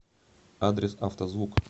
адрес авто звук